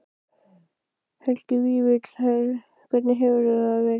Helgi Vífill: Hvernig hefur það verið?